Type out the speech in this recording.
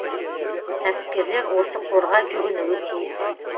кәсіпкерлер осы қорға жүгінуі тиіс